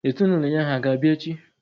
Ezinụlọ ya hà ga-abịa echi?